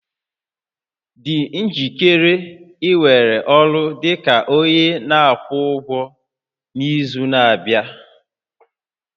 Dị njikere iwere ọrụ dị ka onye na-akwụ ụgwọ n'izu na-abịa